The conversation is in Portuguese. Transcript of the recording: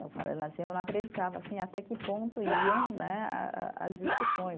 Eu não acreditava assim até que ponto iam né a a as discussões.